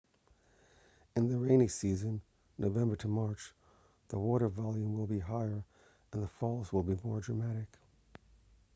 in the rainy season november to march the water volume will be higher and the falls will be more dramatic